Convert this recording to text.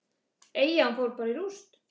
Eyjan fór bara í rúst.